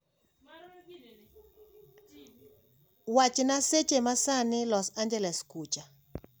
Wachna seche masani los angels kucha